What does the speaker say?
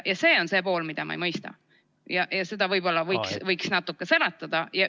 See on see pool, mida ma ei mõista, ja võib-olla võiksite seda natuke selgitada.